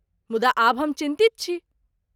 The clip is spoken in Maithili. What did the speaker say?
मुदा आब हम चिन्तित छी।